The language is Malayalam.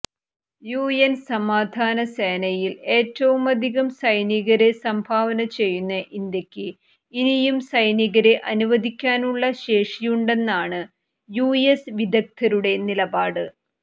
യുഎൻ സമാധാനസേനയിൽ ഏറ്റവുമധികം സൈനികരെ സംഭാവന ചെയ്യുന്ന ഇന്ത്യക്ക് ഇനിയും സൈനികരെ അനുവദിക്കാനുള്ള ശേഷിയുണ്ടെന്നാണ് യുഎസ് വിദഗ്ധരുടെ നിലപാട്